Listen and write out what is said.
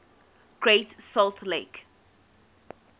great salt lake